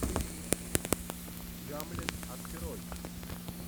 гамлет открой